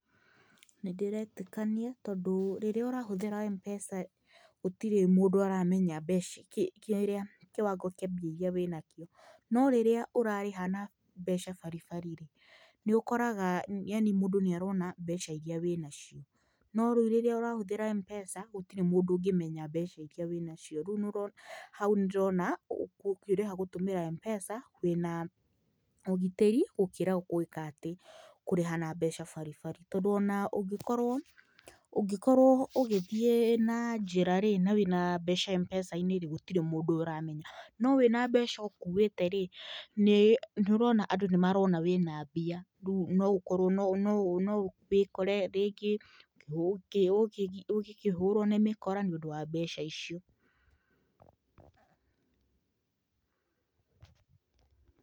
Nĩ ndĩretĩkania tondũ rĩrĩa ũrahũthĩra M-pesa, gũtĩrĩ mũndũ aramenya mbeca kĩrĩa kĩwango kĩa mbia iria wĩna cio. No rĩrĩa ũrarĩha na mbeca baribari rĩ, nĩ ũkoraga yani mũndũ nĩarona mbeca iria wĩna cio. No rĩu rĩrĩa ũrahũthĩra M-pesa, gũtirĩ mũndũ ũngĩmenya mbeca iria wĩna cio. Rĩu nĩ ũrona hau nĩ ndĩrona ũkĩrĩha gũtũmĩra M-pesa, wĩna ũgitĩri gũkĩra gwĩkatĩ kũrĩha na mbeca baribari. Tondũ ona ũngĩkorwo, ũngĩkorwo ũgĩthiĩ na njĩra rĩ, na wĩna mbeca M-pesa-inĩ gũtirĩ mũndũ ũramenya, no wĩna mbeca ũkuĩte rĩ nĩũrona andũ nĩmarona wĩna mbia. Rĩu no ũkorwo no no no wĩkore rĩngĩ ũgĩkĩhũrwo nĩ mĩkora, nĩundũ wa mbeca icio.